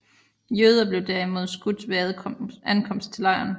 Jøder blev derimod skudt ved ankomst til lejren